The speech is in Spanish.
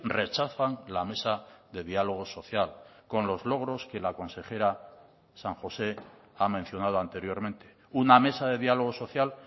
rechazan la mesa de diálogo social con los logros que la consejera san josé ha mencionado anteriormente una mesa de diálogo social